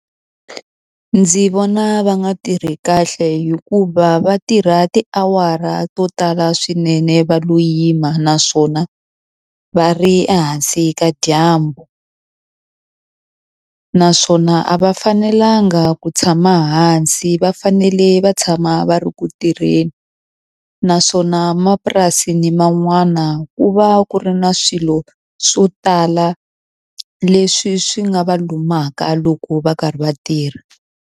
Ndzi vona va nga tirhi kahle hikuva va tirha tiawara to tala swinene va lo yima naswona va ri ehansi ka dyambu naswona a va fanelanga ku tshama hansi va fanele va tshama va ri ku tirheni naswona mapurasini man'wana ku va ku ri na swilo swo tala leswi swi nga va lumaka loko va karhi va tirha.